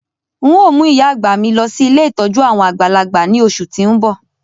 N o mu ìyá-àgbà mi lọ si ilé ìtójú àwon àgbàlagbà ni oṣù ti n bọ.